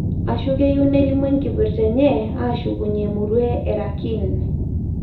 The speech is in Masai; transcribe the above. Ashu keyieu nelimu enkipirta enye ashukunye emurua e Rakhine.